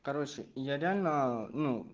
короче я реально ну